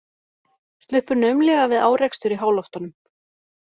Sluppu naumlega við árekstur í háloftunum